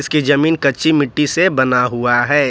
इसकी जमीन कच्ची मिट्टी से बना हुआ है।